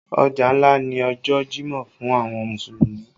Ọjọ́ ńlá ni ọjọ jimọ fún àwọn Mùsùlùmí